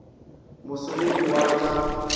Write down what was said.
mo somedi wa t sa